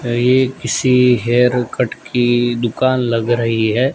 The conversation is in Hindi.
ये किसी हेयरकट की दुकान लग रही है।